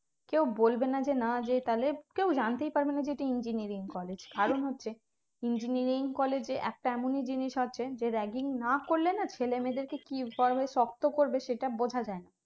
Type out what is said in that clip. কেউ বলবে না যে না যে তাহলে কেউ জানতেই পারবেনা যে এটা engineering college কারণ হচ্ছে engineering college এ একটা এমনই জিনিস আছে যে ragging না করলে না ছেলে মেয়েদেরকে কি কারণে শক্ত করবে সেটা বোঝা যায় না